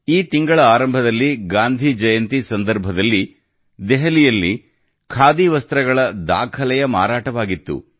ಈ ತಿಂಗಳ ಆರಂಭದಲ್ಲಿ ಗಾಂಧಿ ಜಯಂತಿ ಸಂದರ್ಭದಲ್ಲಿ ದೆಹಲಿಯಲ್ಲಿ ಖಾದಿ ವಸ್ತ್ರಗಳ ದಾಖಲೆಯ ಮಾರಾಟವಾಗಿತ್ತು